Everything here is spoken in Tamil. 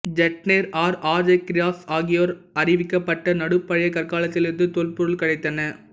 ஜைட்னர் ஆர் ஷாஹாக்கிராஸ் ஆகியோரால் அறிவிக்கப்பட்ட நடு பழைய கற்காலத்திலிருந்து தொல்பொருள் கிடைத்தன